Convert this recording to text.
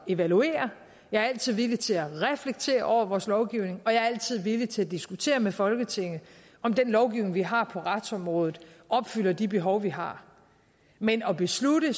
evaluere jeg er altid villig til at reflektere over vores lovgivning og jeg er altid villig til at diskutere med folketinget om den lovgivning vi har på retsområdet opfylder de behov vi har men at beslutte